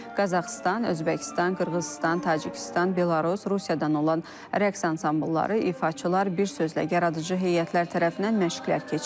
Qazaxıstan, Özbəkistan, Qırğızıstan, Tacikistan, Belarus, Rusiyadan olan rəqs ansamblları, ifaçılar, bir sözlə yaradıcı heyətlər tərəfindən məşqlər keçirilir.